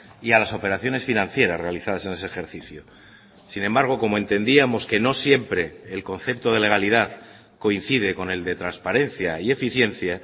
y a las operaciones financieras realizadas en ese ejercicio sin embargo como entendíamos que no siempre el concepto de legalidad coincide con el de transparencia y eficiencia